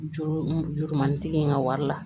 Juru jurumanitigi in ka wari la